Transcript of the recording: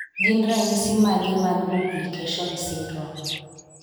gin ranyisis mage mag 8p23.1 duplication syndrome?